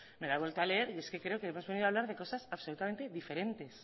me la he vuelto a leer y es que creo que hemos venido a hablar de cosas absolutamente diferentes